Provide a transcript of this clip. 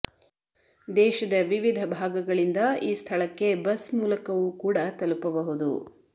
ದೇಶದ ವಿವಿಧ ಭಾಗಗಳಿಂದ ಈ ಸ್ಥಳಕ್ಕೆ ಬಸ್ ಮೂಲಕವೂ ಕೂಡಾ ತಲುಪಬಹುದು